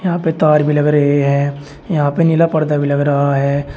यहां पे तार भी लग रहे हैं। यहां पे नीला पर्दा भी लग रहा है।